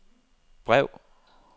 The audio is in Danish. brev